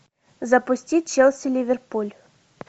запустить челси ливерпуль